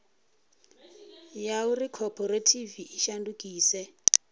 ya uri khophorethivi i shandukise